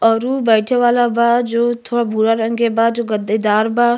औरु बैठे वाला बा जो थोड़ा भूरा रंग के बा जो गद्देदार बा।